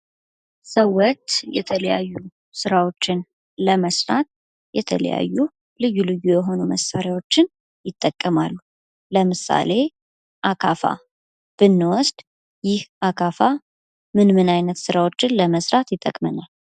ሰዎች የተለያዩ ስራዎችን ለመስራት የተለያዩ ልዩ ልዩ የሆኑ መሳሪያዎችን ይጠቀማሉ። ለምሳሌ አካፋ ብንወስድ ይህ አካፋ ለምን ለምን ስራዎችን ለመስራት ይጠቅመናል?